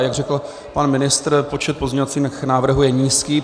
A jak řekl pan ministr, počet pozměňovacích návrhů je nízký.